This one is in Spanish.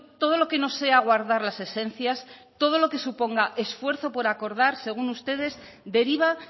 todo lo que no sea guardar las esencias todo lo que suponga esfuerzo por acordar según ustedes deriva